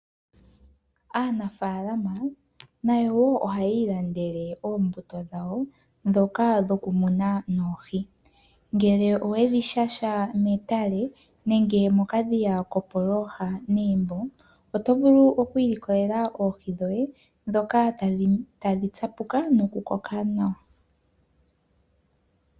Aanafaalama nayo wo ohaya ilandele oombuto dhawo ndhoka dhoku muna noohi. Ngele owedhi shasha metale nenge mokadhiya kopooha negumbo, oto vulu oku ilikolela oohi dhoye ndhoka tadhi tsapuka nokunkoka nawa.